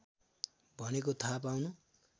भनेको थाहा पाउनु